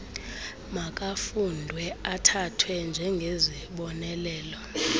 makafundwe athathwe njengezibonelelo